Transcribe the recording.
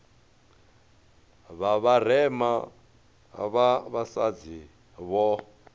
vha vharema vha vhasadzi vho